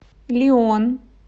лион